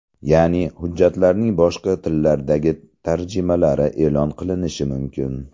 Ya’ni hujjatlarning boshqa tillardagi tarjimalari e’lon qilinishi mumkin.